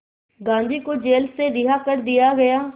गांधी को जेल से रिहा कर दिया गया